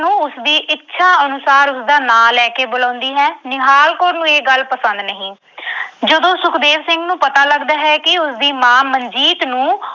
ਨੂੰ ਉਸਦੀ ਇੱਛਾ ਅਨੁਸਾਰ ਉਸਦਾ ਨਾਂ ਲੈ ਕੇ ਬੁਲਾਉਂਦੀ ਹੈ। ਨਿਹਾਲ ਕੌਰ ਨੂੰ ਇਹ ਗੱਲ ਪਸੰਦ ਨਹੀਂ। ਜਦੋਂ ਸੁਖਦੇਵ ਸਿੰਘ ਨੂੰ ਪਤਾ ਲੱਗਦਾ ਹੈ ਕਿ ਉਸਦੀ ਮਾਂ ਮਨਜੀਤ ਨੂੰ